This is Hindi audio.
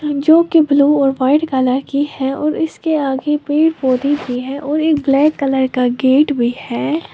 जो की ब्लू और वाइट कलर की है और इसके आगे पेड़ पौधे भी हैं और एक ब्लैक कलर का गेट भी है।